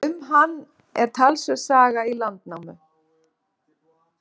Um hann er talsverð saga í Landnámu.